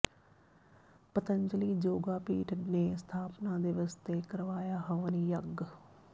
ਪਤੰਜਲੀ ਯੋਗਾਪੀਠ ਨੇ ਸਥਾਪਨਾ ਦਿਵਸ ਤੇ ਕਰਵਾਇਆ ਹਵਨ ਯੱਗ